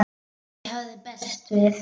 Ekkert hafði bæst við.